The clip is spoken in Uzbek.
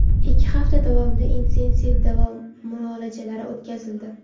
ikki hafta davomida intensiv davo muolajalari o‘tkazildi.